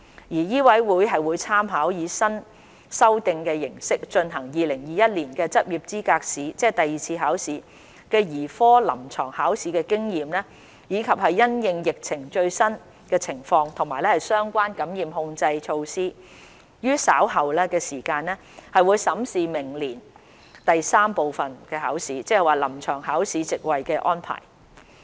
醫委會會參考以新修訂形式進行的2021年執業資格試兒科臨床考試的經驗，以及因應疫情的最新情況及相關的感染控制措施，於稍後時間審視明年第三部分：臨床考試席位的安排。